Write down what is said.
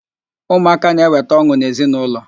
Ụmụaka na-eweta ọn̄ụ n'ezi na ụlọ